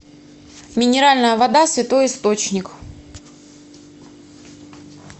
минеральная вода святой источник